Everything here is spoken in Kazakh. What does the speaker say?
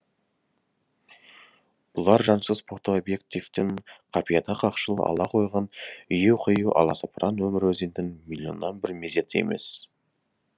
бұлар жансыз фотообъективтің қапияда қақшып ала қойған ию қию аласапыран өмір өзеннің миллионнан бір мезеті емес